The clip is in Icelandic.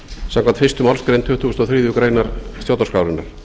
samkvæmt fyrstu málsgrein tuttugustu og þriðju grein stjórnarskrárinnar